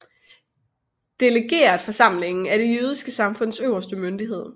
Delegeretforsamlingen er det jødiske samfunds øverste myndighed